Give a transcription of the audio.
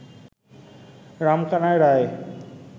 Ramkanai Roy